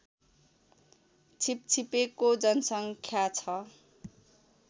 छिपछिपेको जनसङ्ख्या छ